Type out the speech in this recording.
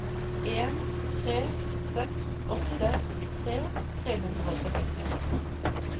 en tre seks åtte nittitre tre hundre og syttitre